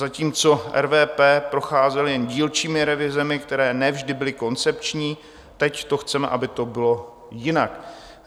Zatímco RVP procházely jen dílčími revizemi, které ne vždy byly koncepční, teď chceme, aby to bylo jinak.